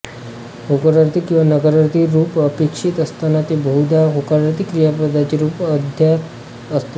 होकारार्थी किंवा नकारार्थी रूप अपेक्षित असताना ते बहुधा होकारार्थी क्रियापदाचे रूप अध्याह्रत असते